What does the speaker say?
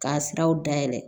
K'a siraw dayɛlɛ